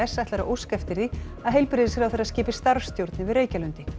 ætlar að óska eftir því að heilbrigðisráðherra skipi starfsstjórn yfir Reykjalundi